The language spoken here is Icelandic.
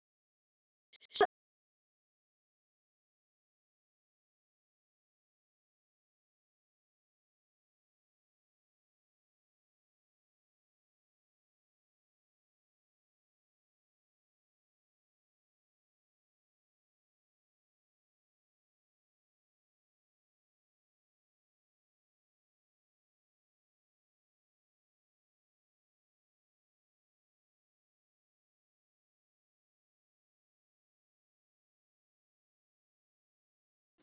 Betra gat það varla orðið.